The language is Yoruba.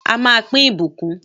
A má pín ìbùkún